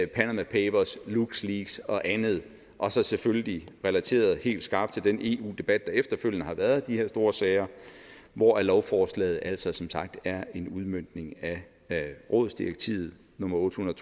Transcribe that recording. panama papers luxleaks og andet og så selvfølgelig relateret helt skarpt til den eu debat der efterfølgende har været om de her store sager hvor lovforslaget altså som sagt er en udmøntning af rådsdirektivet nummer otte hundrede